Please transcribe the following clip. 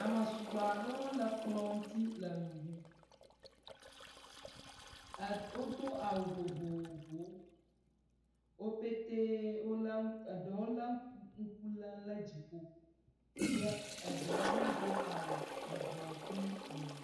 Ame sugbɔ aɖewo le kplɔ̃ ŋuti le nu ɖum. Wodo awu vovovowo. Wo petɛe eɖewo le ŋku lem ɖe dziƒo ye eɖewo hã do awu yibɔ kple ʋi.